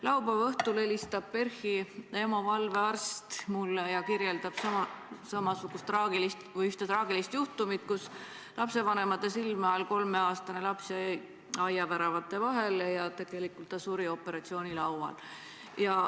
Laupäeva õhtul helistas PERH-i EMO valvearst mulle ja kirjeldas traagilist juhtumit, kus lapsevanemate silme all jäi 3-aastane laps aiaväravate vahele ja suri hiljem operatsioonilaual.